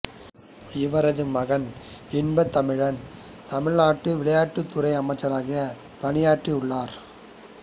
இவரது மகன் இன்பத்தமிழன் தமிழ்நாட்டு விளையாட்டுத் துறை அமைச்சராகப் பணியாற்றியுள்ளார்